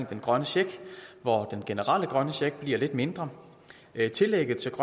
den grønne check hvor den generelle grønne check bliver lidt mindre tillægget til